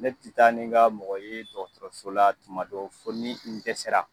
Ne tɛ taa ni ka mɔgɔ ye dɔgɔtɔrɔso la tuma dɔ fɔ ni n dɛsɛra!